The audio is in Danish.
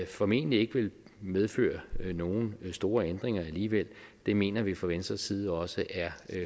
formentlig ikke vil medføre nogen store ændringer alligevel det mener vi fra venstres side også er